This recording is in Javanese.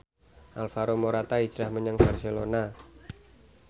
Alvaro Morata hijrah menyang Barcelona